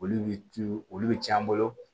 Olu bɛ tu olu bɛ cɛn an bolo